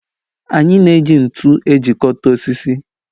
Anyị na-eji ntụ ejikọta osisi.